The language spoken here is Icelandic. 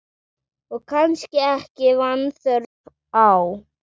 Og kannski ekki vanþörf á.